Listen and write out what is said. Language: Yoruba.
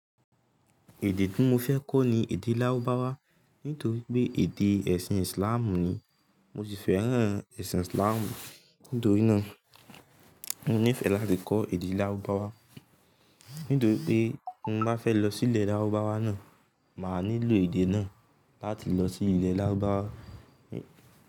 Èdè tí mo fẹ́ kọ́ ni èdè Lárúbáwá nítorí pé èdè ẹ̀sìn Islam ni. Mo sì fẹ́ràn ẹ̀sìn Islam. Nítorí náà mo nífẹ̀ẹ́ láti kọ́ èdè Lárúbáwá. Nítorí pé mo bá fẹ́ lọ sí ilẹ̀ Lárúbáwá náà, màá nílò èdè náà láti lọ sí ilẹ̀ Lárúbáwá.